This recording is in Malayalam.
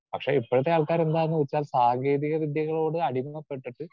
സ്പീക്കർ 2 പക്ഷെ ഇപ്പഴത്തെ ആൾക്കാരെന്താന്ന് വെച്ചാൽ സാങ്കേതികവിദ്യകളോട് അടിമപ്പെട്ടിട്ട്